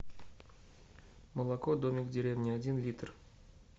молоко домик в деревне один литр